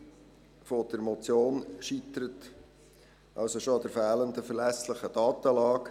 Die Umsetzung der Motion scheitert also bereits an der fehlenden verlässlichen Datenlage.